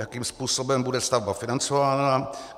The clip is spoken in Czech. Jakým způsobem bude stavba financována?